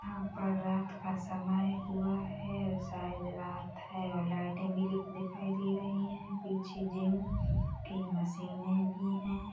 यहाँ पर रात का समय हुआ हैशायद रात है और लाइटे भी दिखाई दे रही है पीछे जिम की मशीनें भी है।